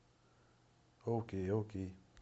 окей окей